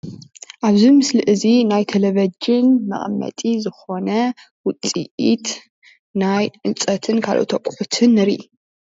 ኣብዚ ምስሊ እዚ ናይ ተለቪጅን መቐመጢ ዝኾነ ውጽኢት ናይ ዕንፀትን ካልኦትን ኣቑሑትን ንርኢ።